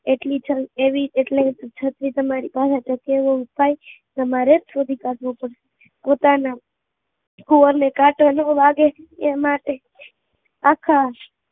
એટલી આવી છત્રી તમારી પાસે કેહવા થાય, તામરે જ શોધી કાઢવો પડે, પોતાના કુંવર ને કાંટો વાગે એ માટે આખા